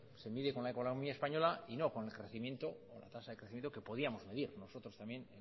se mide con la economía española y no con el crecimiento la tasa de crecimiento que podíamos medir nosotros también